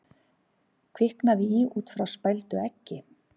Kviknaði í út frá spældu eggi